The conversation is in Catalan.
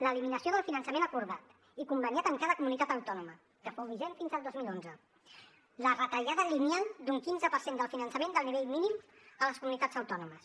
l’eliminació del finançament acordat i conveniat amb cada comunitat autònoma que fou vigent fins al dos mil onze la retallada lineal d’un quinze per cent del finançament del nivell mínim a les comunitats autònomes